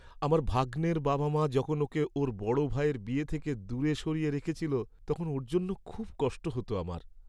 আমার ভাগ্নের বাবা মা যখন ওকে ওর বড় ভাইয়ের বিয়ে থেকে দূরে সরিয়ে রেখেছিল তখন ওর জন্য খুব কষ্ট হত আমার।